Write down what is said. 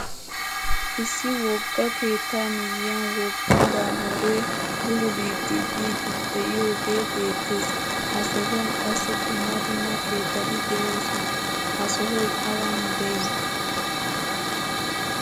Issi wogga keetta miyiyan wogga baaburebululidi biidi deioge beettees. Ha sohuwan qassi dumma dumma keettati deosona. Ha sohoy awan de'i?